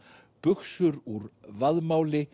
buxur úr